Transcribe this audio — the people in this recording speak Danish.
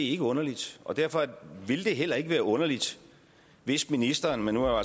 ikke underligt og derfor ville det heller ikke være underligt hvis ministeren men nu er